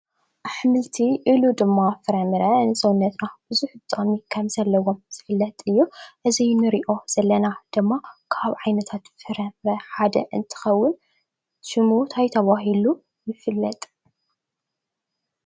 ኣሕምልቲ ኢሉ ድማ ፍረምረ ንሰዉነትና ቡዙሕ ጥቅሚ ከም ዘለዎ ዝፍለጥ እዩ። እዚ እንርእዮ ዘለና ድማ ካብ ዓይነታት ፍረምረ ሓደ እንትኸዉን ሽሙ እንታይ ተባሂሉ ይፍልጥ?